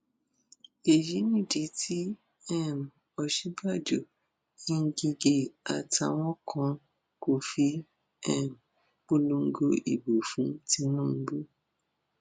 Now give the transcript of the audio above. èyí nìdí tí um òsínbàjò nígẹ àtàwọn kan kò fi um polongo ìbò fún tìǹbù